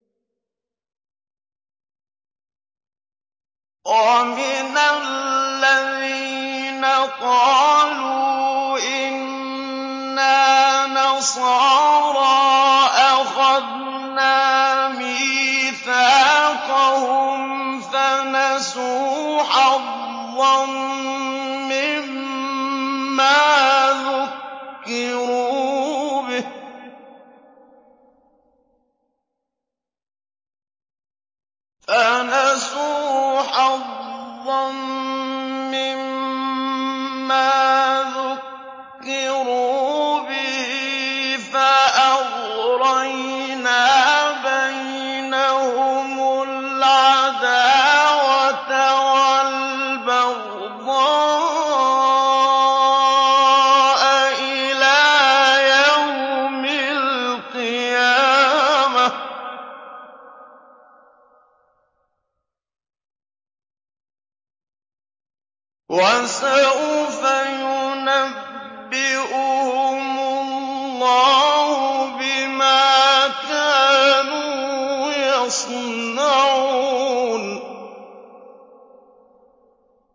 وَمِنَ الَّذِينَ قَالُوا إِنَّا نَصَارَىٰ أَخَذْنَا مِيثَاقَهُمْ فَنَسُوا حَظًّا مِّمَّا ذُكِّرُوا بِهِ فَأَغْرَيْنَا بَيْنَهُمُ الْعَدَاوَةَ وَالْبَغْضَاءَ إِلَىٰ يَوْمِ الْقِيَامَةِ ۚ وَسَوْفَ يُنَبِّئُهُمُ اللَّهُ بِمَا كَانُوا يَصْنَعُونَ